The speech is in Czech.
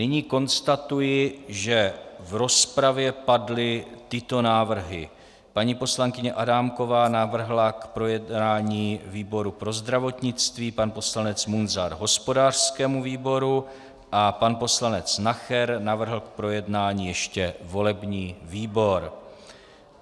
Nyní konstatuji, že v rozpravě padly tyto návrhy: paní poslankyně Adámková navrhla k projednání výboru pro zdravotnictví, pan poslanec Munzar hospodářskému výboru a pan poslanec Nacher navrhl k projednání ještě volební výbor.